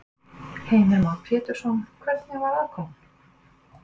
Heimir Már Pétursson: Hvernig var aðkoman?